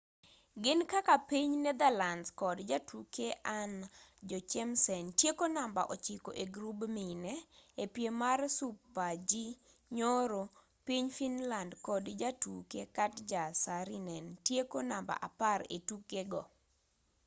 gin kaka piny netherlands kod jatuke anna jochemsen tieko namba ochiko egrub mine epiem mar super-g nyoro piny finland kod jatuke katja saarinen tieko namba apar etukego